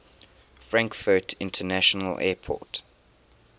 frankfurt international airport